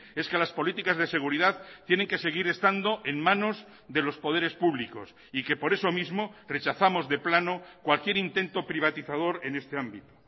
es que las políticas de seguridad tienen que seguir estando en manos de los poderes públicos y que por eso mismo rechazamos de plano cualquier intento privatizador en este ámbito